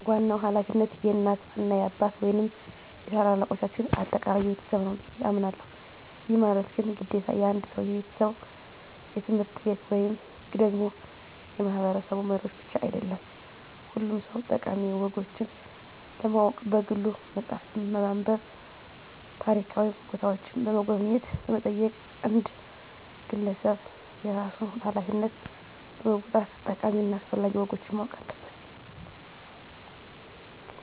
ዋናው ሀላፊነት የእናት እና የአባት ወይንም የታላላልቆቻችን አጠቃላይ የቤተሰብ ነው ብየ አሞናለሁ። ይህ ማለት ግን ግዴታ የአንድ ሰው፣ የቤተሰብ፣ የትምህርት ቤት ወይም ደግሞ የማህበረሰቡ መሪዎች ብቻ አይደለም ሁሉም ሰው ጠቃሚ ወጎችን ለማወቅ በግሉ መፅሃፍትን በማንብ፣ ታሪካዊ ቦታዎችን በመጎብኘት በመጠየቅ አንድ ግለሰብ የራሱን ሀላፊነት በመወጣት ጠቃሚ እና አስፈላጊ ወጎችን ማወቅ አለበት።